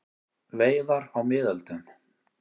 Veiðar á miðöldum.